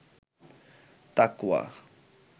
তাকওয়া